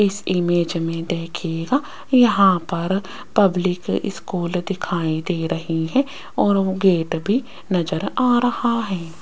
इस इमेज में देखियेगा यहां पर पब्लिक स्कूल दिखाई दे रही है और वो गेट भी नजर आ रहा है।